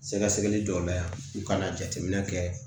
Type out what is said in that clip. Sɛgɛsɛgɛli jɔ bɛ yan u ka jateminɛ kɛ